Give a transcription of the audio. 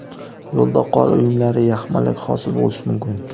Yo‘lda qor uyumlari, yaxmalak hosil bo‘lishi mumkin.